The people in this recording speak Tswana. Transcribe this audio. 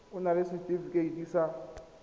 o na le setefikeiti sa